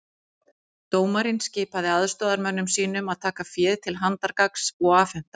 Dómarinn skipaði aðstoðarmönnum sínum að taka féð til handargagns og afhenda